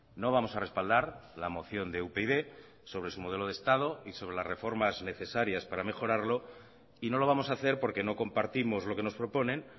no vamos a respaldar la moción de upyd sobre su modelo de estado y sobre las reformas necesarias para mejorarlo y no lo vamos a hacer porque no compartimos lo que nos proponen